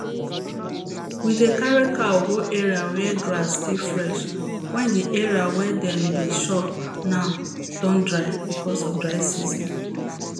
we dey carry cow go area where grass still fresh wen the area wey dem dey chop now don dry because of dry season